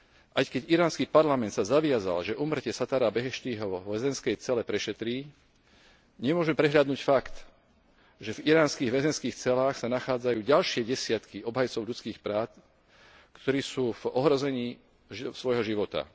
Aj keď iránsky parlament sa zaviazal, že úmrtie Sattára Beheštího vo väzenskej cele prešetrí, nemôžeme prehliadnuť fakt, že v iránskych väzenských celách sa nachádzajú ďalšie desiatky obhajcov ľudských práv, ktorí sú v ohrození svojho života.